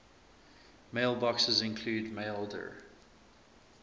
mailboxes include maildir